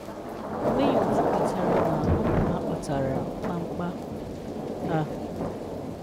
Onwebeghị otu kwetara na ọ bụ ha kpatara mkpamkpa a.